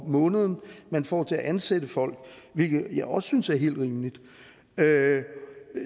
om måneden man får til at ansætte folk hvilket jeg også synes er helt rimeligt